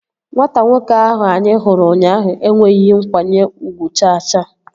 Nwata nwoke ahụ anyị hụrụ ụnyaahụ enweghị nkwanye ugwu cha cha